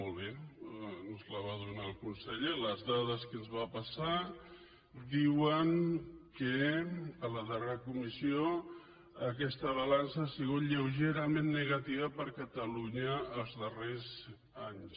molt bé ens la va donar el conseller les dades que ens va passar diuen que en la darrera comissió aquesta balança ha sigut lleugerament negativa per a catalunya els darrers anys